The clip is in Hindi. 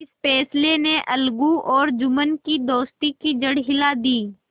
इस फैसले ने अलगू और जुम्मन की दोस्ती की जड़ हिला दी